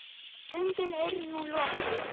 Göngin eru nú lokuð.